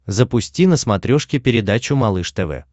запусти на смотрешке передачу малыш тв